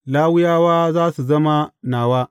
Lawiyawa za su zama nawa.